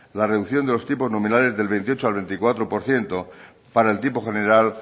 la reducción de los tipos nominales del veintiocho al veinticuatro por ciento para el tipo general